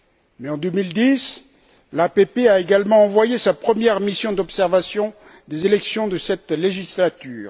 Mais en 2010, l'APP a également envoyé sa première mission d'observation des élections de cette législature.